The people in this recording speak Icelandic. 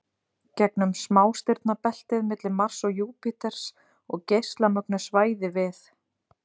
gegnum smástirnabeltið milli Mars og Júpíters og geislamögnuð svæði við